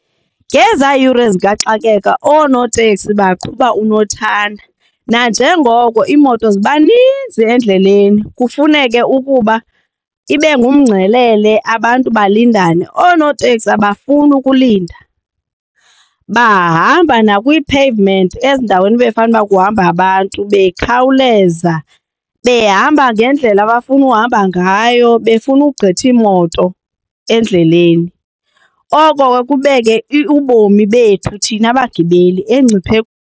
Ngezaa yure zikaxakeka oonoteksi baqhuba unothanda nanjengoko iimoto ziba ninzi endleleni kufuneke ukuba ibe ngumngcelele abantu balindane. Oonoteksi abafuni ukulinda. Bahamba nakwii-pavement ezindaweni bekufanuba kuhamba abantu bekhawuleza behamba ngendlela abafuna uhamba ngayo befuna kugqitha imoto endleleni. Oko ke kubeke ubomi bethu thina bagibeli engciphekweni.